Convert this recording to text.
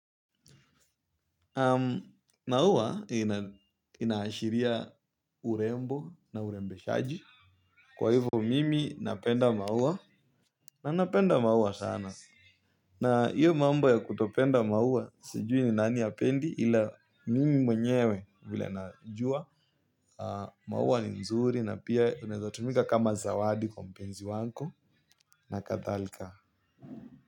Na huwa inaashiria urembo na urembeshaji. Kwa hivyo mimi napenda maua. Na napenda maua sana. Na hiyo mambo ya kutopenda maua sijui ni nani hapendi ila mimi mwenyewe vile najua. Maua ni mzuri na pia inaeza tumika kama zawadi kwa mpenzi wako. Na kadhalika.